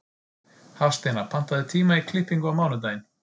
Hafsteina, pantaðu tíma í klippingu á mánudaginn.